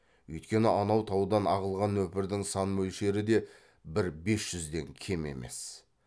үйткені анау таудан ағылған нөпірдің сан мөлшері де бір бес жүзден кем емес